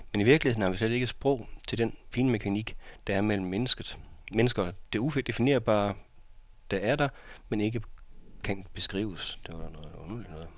Men i virkeligheden har vi slet ikke sprog til den finmekanik, der er mellem mennesker, det udefinerbare der er der, men ikke kan beskrives.